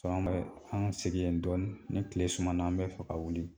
Fan bɛ an ŋa sigi yen dɔɔni, ni tile sumana an bɛ fɛ ka wuli.